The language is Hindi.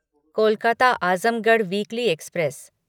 Kolkata Azamgarh weekly express